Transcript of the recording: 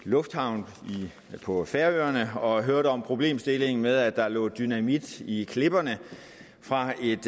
lufthavn på færøerne og hørte om problemstillingen med at der lå dynamit i klipperne fra et